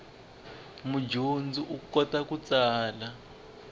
mudyondzi u kota ku tsala